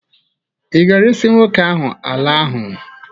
Ị ga-eresị nwoke ahụ ala ahụ?